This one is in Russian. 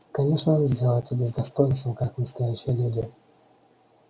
конечно она сделает это с достоинством как настоящая леди